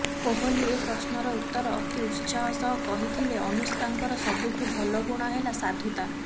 କୋହଲି ଏ ପ୍ରଶ୍ନର ଉତ୍ତର ଅତି ଉତ୍ସାହ ସହ କହିଥିଲେ ଅନୁଷ୍କାଙ୍କର ସବୁଠୁ ଭଲ ଗୁଣ ହେଲା ସାଧୁତା